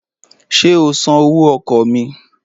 Ṣé o san owó ọkọ̀ mi?